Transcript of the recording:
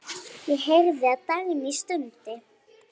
Ég heyrði að Dagný stundi.